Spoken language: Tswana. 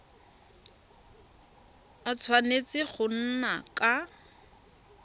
a tshwanetse go nna ka